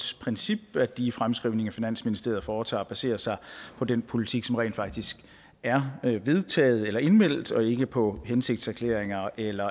princip at de fremskrivninger finansministeriet foretager baserer sig på den politik som rent faktisk er vedtaget eller indmeldt og ikke på hensigtserklæringer eller